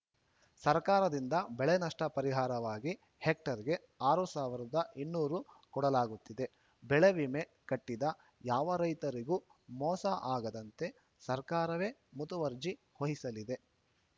ಸರ್ಕಾರದಿಂದ ಬೆಳೆನಷ್ಟಪರಿಹಾರವಾಗಿ ಹೆಕ್ಟೇರ್‌ಗೆ ಆರು ಸಾವಿರದ ಇನ್ನೂರು ಕೊಡಲಾಗುತ್ತಿದೆ ಬೆಳೆವಿಮೆ ಕಟ್ಟಿದ ಯಾವ ರೈತರಿಗೂ ಮೋಸ ಆಗದಂತೆ ಸರ್ಕಾರವೇ ಮುತುವರ್ಜಿ ವಹಿಸಲಿದೆ